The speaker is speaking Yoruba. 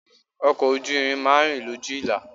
Ọkọ̀ ojú irin máa ń rìn lójú ìlà.